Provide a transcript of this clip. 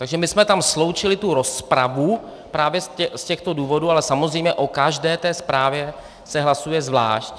Takže my jsme tam sloučili tu rozpravu právě z těchto důvodů, ale samozřejmě o každé té zprávě se hlasuje zvlášť.